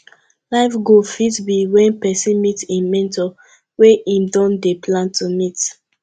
life goal fit be when person meet im mentor wey im don dey plan to meet